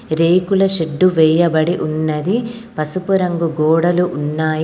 రేకుల షెడ్డు వెయ్యబడి ఉన్నది. పసుపు రంగు గోడలు ఉన్నాయి.